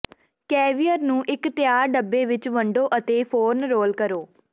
caviar ਨੂੰ ਇੱਕ ਤਿਆਰ ਡੱਬੇ ਵਿੱਚ ਵੰਡੋ ਅਤੇ ਫੌਰਨ ਰੋਲ ਕਰੋ